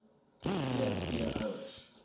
g v ouers